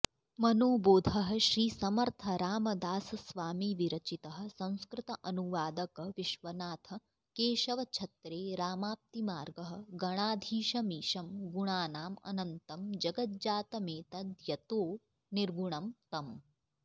मनोबोधः श्रीसमर्थरामदासस्वामिविरचितः संस्कृत अनुवादक विश्वनाथ केशव छत्रे रामाप्तिमार्गः गणाधीशमीशं गुणानामनन्तं जगज्जातमेतद्यतो निर्गुणं तम्